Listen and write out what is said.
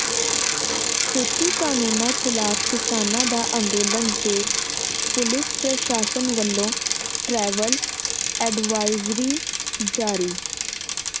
ਖੇਤੀ ਕਾਨੂੰਨਾਂ ਖਿਲਾਫ ਕਿਸਾਨਾਂ ਦਾ ਅੰਦੋਲਨ ਵੇਖ ਪੁਲਿਸ ਪ੍ਰਸ਼ਾਸਨ ਵੱਲੋਂ ਟ੍ਰੈਵਲ ਐਡਵਾਇਜ਼ਰੀ ਜਾਰੀ